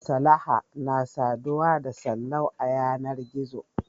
Salaha na saduwa da Sallau a yanar gizo.